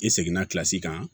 I seginna kilasi kan